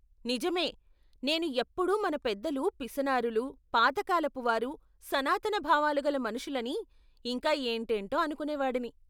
నిజమే! నేను ఎప్పుడు మన పెద్దలు పిసినారులు, పాత కాలపువారు, సనాతన భావాలుగల మనుషులని ఇంకా ఏంటేంటో అనుకునేవాడిని.